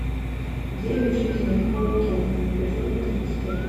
девять жизней хлои кинг эпизод тридцать один